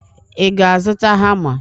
Ị ga-azụta hama?